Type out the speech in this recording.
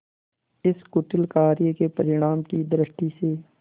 इस कुटिल कार्य के परिणाम की दृष्टि से